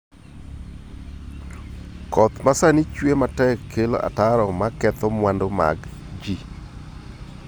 Koth ma sani chue matek kelo ataro ma ketho mwandu mag ji.